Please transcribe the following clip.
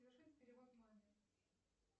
совершить перевод маме